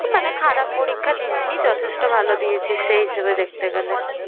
মানে খারাপ পরীক্ষা দিস নি যথেষ্ট ভালো দিয়েছিস সেই হিসেবে দেখতে গেলে।